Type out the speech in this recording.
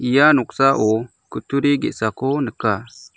ia noksao kutturi ge·sako nika.